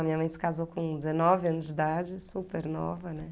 A minha mãe se casou com dezenove anos de idade, super nova, né?